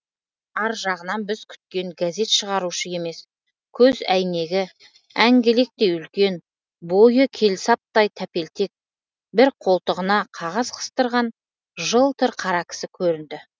ар жағынан біз күткен газет шығарушы емес көз әйнегі әңгелектей үлкен бойы келсаптай тәпелтек бір қолтығына қағаз қыстырған жылтыр қара кісі көрінді